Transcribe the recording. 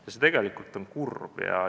See on tegelikult kurb.